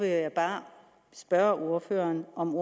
jeg bare spørge ordføreren om